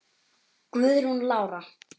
Guðrún Lára.